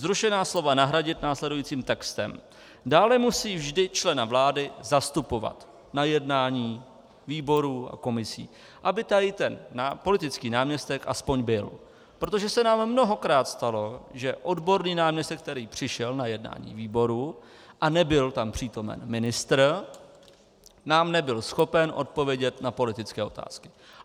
Zrušená slova nahradit následujícím textem: Dále musí vždy člena vlády zastupovat na jednání výborů a komisí, aby tady ten politický náměstek aspoň byl, protože se nám mnohokrát stalo, že odborný náměstek, tedy přišel na jednání výboru a nebyl tam přítomen ministr, nám nebyl schopen odpovědět na politické otázky.